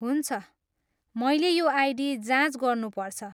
हुन्छ, मैले यो आइडी जाँच गर्नुपर्छ।